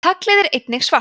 taglið er einnig svart